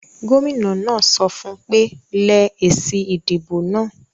Gómìnà náà sọ fún ùn pé; lẹ èsì ìdìbò náà